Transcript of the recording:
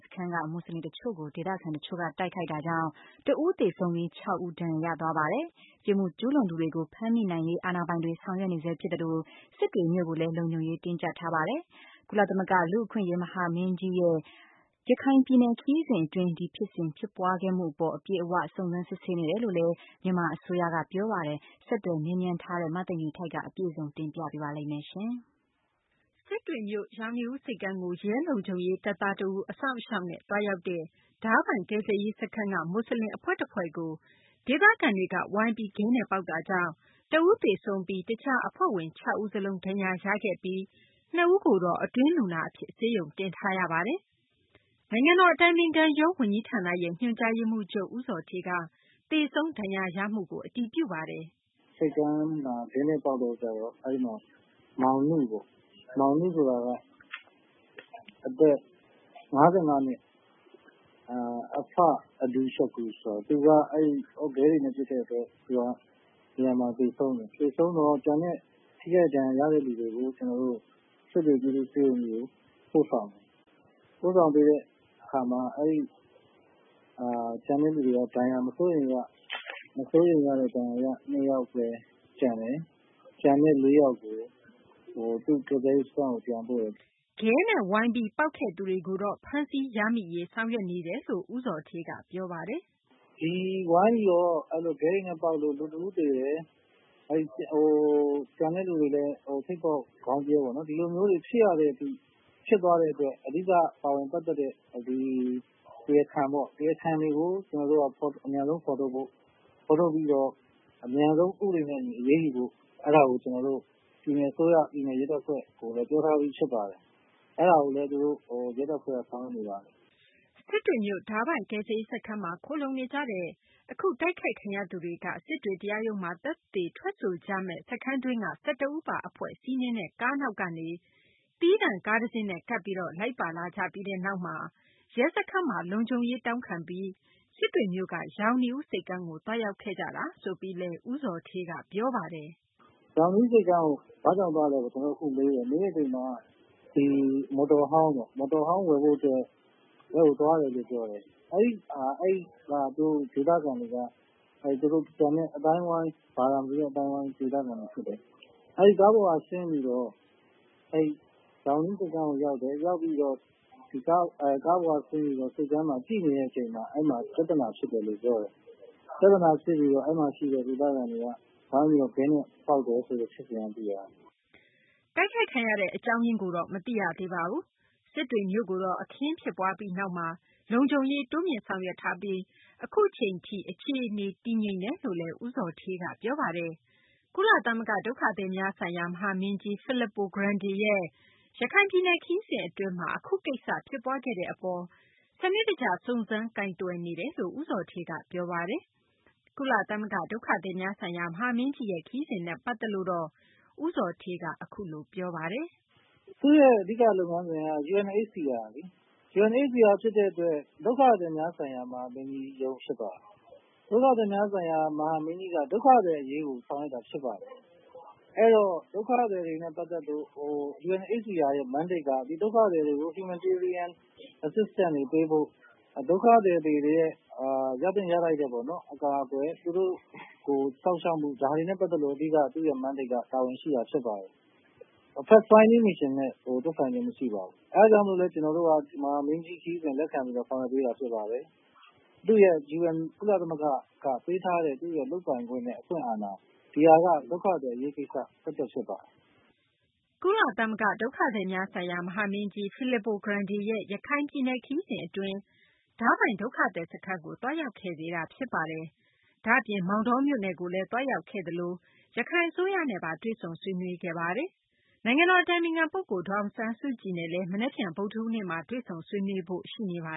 စခန်းက မွတ်ဆလင် တချို့ကို ဒေသခံ တချို့က တိုက်ခိုက်တာကြောင့် တဦး သေဆုံးပြီး ၆ ဦး ဒဏ်ရာရပါတယ်။ ပြစ်မှုကျူးလွန်သူတွေကို ဖမ်းမိနိုင်ရေး အာဏာပိုင်တွေ ဆောင်ရွက်နေဆဲ ဖြစ်သလို စစ်တွေမြို့ကိုလည်း လုံခြုံရေး တင်းကြပ်ထားပါတယ်။ ဒုက္ခသည်များဆိုင်ရာ ကုလသမဂ္ဂ မဟာမင်းကြီးရဲ့ ရခိုင်ပြည်နယ် ခရီးစဉ် အတွင်း ဒီဖြစ်စဉ် ဖြစ်ပွားခဲ့မှု အပေါ် အပြည့်အ၀ စုံစမ်းစစ်ဆေးနေတယ်လို့လည်း မြန်မာ အစိုးရက ပြောပါတယ်။ မသိင်္ဂ ီထိုက် ဆက်သွယ် မေးမြန်းထားပါတယ်။ စစ်တွေမြို့ ရောင်နီးဦး ဆိပ်ကမ်းကို ရဲလုံခြုံရေး တပ်သားတဦး အစောင့်အရှောက်နဲ့ သွားရောက်တဲ့ ဒါးပိုင် ကယ်ဆယ်ရေး စခန်းက မွတ်ဆလင် အဖွဲ့တဖွဲ့ကို ဒေသခံတွေက ဝိုင်းပြီး ခဲနဲ့ ပေါက်တာကြောင့် တဦးသေဆုံးပြီး တခြား အဖွဲ့ဝင် ၆ ဦးစလုံး ဒဏ်ရာရခဲ့တာမှာ ၂ ဦးကိုတော့ အတွင်းလူနာ အဖြစ် ဆေးဝါး ကုသပေးနေ ရပါတယ်။ နိုင်ငံတော် အတိုင်ပင်ခံ ပုဂ္ဂိုလ်ရုံး ဝန်ကြီးဌာနရဲ့ ညွှန်ကြားရေးမှူးချုပ် ဦးဇော်ဌေးက သေဆုံး ဒဏ်ရာရမှုကို အတည်ပြုပါတယ်။ “ ဆိပ်ကမ်းမှာ ခဲနဲ့ ပေါက်တော့ အဲဒီမှာ မောင်နုပေါ့။ အသက် ၅၅ နှစ် (အဖ အဘဒူ ရှကူ) ဆိုတာ သူက ခဲတွေနဲ့ ပစ်တဲ့ အတွက် နေရာမှာတင် သေဆုံးတယ်။ သေဆုံးတော့ ကျန်တဲ့ ထိခိုက်ဒဏ်ရာ ရတဲ့ လူတွေကို ကျနော်တို့ စစ်တွေ ပြည်သူ့ ဆေးရုံကြီးကို ပို့ဆောင်တယ်။ ပို့ဆောင်ပြီးတဲ့ အခါမှာ ကျန်တဲ့ လူတွေက ဒဏ်ရာ မစိုးရိမ်ရတဲ့ ဒဏ်ရာရ နှစ်ယောက်ဘဲ ကျန်တယ်။ ကျန်တဲ့ လေးယောက်ကို ကယ်ဆယ်ရေး စခန်းကို ပြန်ပို့တယ်။” ခဲနဲ့ ဝိုင်းပြီး ပေါက်ခဲ့သူတွေကိုတော့ ဖမ်းဆီးရမိရေး ဆောင်ရွက်နေတယ်လို့ ဦးဇော်ဌေးက ပြောပါတယ်။ “ ဒီ ဝိုင်းပြီးတော့ ခဲတွေနဲ့ ပေါက်လို့ လူ တဦး သေတယ်။ ကျန်တဲ့သူတွေလည်း ထိပ်ပေါက်၊ ခေါင်းပြဲပေါ့နော် ဒီလိုမျိုးတွေ ဖြစ်ရတဲ့ အထိ ဖြစ်သွားတဲ့ အတွက် အဓိက ပါဝင်ပတ်သက်တဲ့ တရားခံတွေပေါ့ တရားခံတွေကို ကျနော်တို့က အမြန်ဆုံး ဖော်ထုတ်ဖို့ ဖော်ထုတ်ပြီး အမြန်ဆုံး ဥပဒေနဲ့ အညီ အရေးယူဖို့ အဲဒါကို ကျနော်တို့က ပြည်နယ် အစိုးရ ပြည်နယ် ရဲတပ်ဖွဲ့ ကို ပြောထားပြီး ဖြစ်ပါတယ်။ အဲဒါကိုလည်း ရဲတပ်ဖွဲ့က ဆောင်ရွက်နေပါတယ်။ ” စစ်တွေမြို့ ဒါးပိုင် ကယ်ဆယ်ရေး စခန်းမှာ ခိုလှုံနေကြတဲ့ အခု တိုက်ခိုက်ခံရသူတွေက စစ်တွေ တရားရုံးမှာ သက်သေ ထွက်ဆိုကြမယ့် စခန်းတွင်းက ၁၁ ဦးပါ အဖွဲ့ စီးနင်းတဲ့ ကားနောက်ကနေ သီးသန့် ကားတစင်းနဲ့ ကပ်ပြီး လိုက်ပါလာကြပြီးနောက်မှာ ရဲစခန်းမှာ လုံခြုံရေး တောင်းခံပြီး စစ်တွေမြို့က ရောင်နီဦး ဆိပ်ကမ်းကို သွားရောက်ခဲ့ကြတာ ဆိုပြီး ဦးဇော်ဌေးက ပြောပါတယ်။ “ ရောင်နီဦး ဆိပ်ကမ်းကို ဘာကြောင့်သွားလဲလို့ ကျနော်တို့ အခုမေးတယ်။ မေးတော့ မော်တော်ဟောင်း ဝယ်ဖို့ အတွက် သွားတယ်လို့ ပြောတယ်။ အဲဒီက ဒေသခံတွေက ကျန်တဲ့ ဘာသာမတူတဲ့ အသိုင်းအဝိုင်း ဒေသခံတွေ ဖြစ်တယ်။ အဲဒီ ကားပေါ်က ဆင်းတယ်။ ဆင်းပြီးတော့ ရောင်နီဦး ဆိပ်ကမ်းကို ရောက်တယ်။ ကားပေါ်က ဆင်းပြီး ဆိပ်ကမ်းမှာ ကြည့်နေတဲ့ အချိန်မှာ အဲဒီမှာ ပြသနာ ဖြစ်တယ်လို့ ပြောတယ်။ ပြသနာ ဖြစ်ပြီး အဲဒီမှာ ရှိတဲ့ ဒေသခံတွေက ဝိုင်းပြီး ခဲနဲ့ ပေါက်တယ်လို့ ဖြစ်စဉ်က သိရတယ်။ ” တိုက်ခိုက်ခံရတဲ့ အကြောင်းရင်းကိုလည်း မသိရသေးပါဘူး။ စစ်တွေမြို့ကိုတော့ အခင်ဖြစ်ပွားပြီးနောက်မှာ လုံခြုံရေး တိုးမြှင့် ဆောင်ရွက်ထားပြီး အခုချိန်ထိ အခြေအနေ တည်ငြိမ်တယ်လို့လည်း ဦးဇော်ဌေးက ပြောပါတယ်။ ကုလသမဂ္ဂ ဒုက္ခသည်များဆိုင်ရာ မဟာမင်းကြီး Fillipo Grande ရဲ့ ရခိုင်ပြည်နယ် ခရီးစဉ် အတွင်းမှာ အခု ကိစ္စ ဖြစ်ပွားခဲ့တဲ့ အပေါ်မှာလည်း စနစ်တကျ စုံစမ်း ကိုင်တွယ်နေတယ်လို့ ဦးဇော်ဌေးက ပြောပါတယ်။ ကုလ ဒုက္ခသည်များဆိုင်ရာ မဟာမင်းကြီးရဲ့ ခရီးစဉ်နဲ့ ပတ်သက်လို့တော့ ဦးဇော်ဌေးက အခုလို ပြောပါတယ်။ “ သူ့ရဲ့ အဓိက လုပ်ငန်းစဉ်က UNHCR လေ။ UNHCR ဖြစ်တဲ့ အတွက် ဒုက္ခသည်များဆိုင်ရာ မဟာမင်းကြီးရုံး ဖြစ်တာပေါ့။ ဒုက္ခသည်များဆိုင်ရာ မဟာမင်းကြီးက ဒုက္ခသည် အရေးကို ဆောင်ရွက်တာ ဖြစ်ပါတယ်။ အဲဒီတော့ ဒုက္ခသည်တွေနဲ့ ပတ်သက်လို့ UNHCR ရဲ့ Mandate က ဒီဒုက္ခသည်တွေကို Humanitarian Assistance တွေ ပေးဖို့၊ ဒုက္ခသည်တွေ ရသင့် ရထိုက်တဲ့ အကာအကွယ်၊ သူတို့ကို စောင့်ရှောက်မှု ဒါတွေနဲ့ ပတ်သက်လို့ သူ့ရဲ့ Mandate က တာဝန်ရှိတာ ဖြစ်ပါတယ်။ Fact Finding Mission နဲ့ သက်ဆိုင်ခြင်း မရှိပါဘူး။ အဲဒါကြောင့်လည်း ကျနော်တို့က မဟာမင်းကြီး ခရီးစဉ်ကို လက်ခံပြီး ဆောင်ရွက်ပေးတာ ဖြစ်ပါတယ်။ ” ကုလ ဒုက္ခသည်များဆိုင်ရာ မဟာမင်းကြီး Filipo Grande ရဲ့ ရခိုင်ပြည်နယ် ခရီးစဉ် အတွင်း ဒါးပိုင် ဒုက္ခသည် စခန်းကို သွားရောက်ခဲ့သေးတာ ဖြစ်ပါတယ်။ ဒါ့အပြင် မောင်တောမြို့နယ်ကိုလည်း သွားရောက်ခဲ့သလို ရခိုင် အစိုးရနဲ့ပါ တွေ့ဆုံ ဆွေးနွေးခဲ့ပါတယ်။ နိုင်ငံတော် အတိုင်ပင်ခံ ပုဂ္ဂိုလ် ဒေါ်အောင်ဆန်းစုကြည်နဲ့လည်း မနက်ဖြန် ဗုဒ္ဓဟူးနေ့မှာ တွေ့ဆုံဆွေးနွေးဖို့ ရှိနေပါ